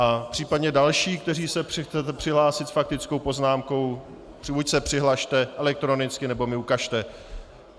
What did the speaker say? A případně další, kteří se chcete přihlásit s faktickou poznámkou, buď se přihlaste elektronicky, nebo mi ukažte.